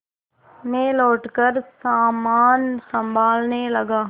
मैं लौटकर सामान सँभालने लगा